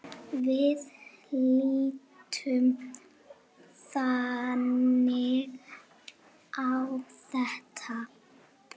Við lítum þannig á þetta.